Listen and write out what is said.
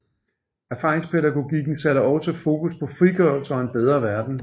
Erfaringspædagogikken satte også fokus på frigørelse og en bedre verden